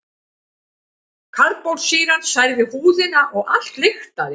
Karbólsýran særði húðina og allt lyktaði.